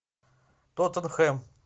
тоттенхэм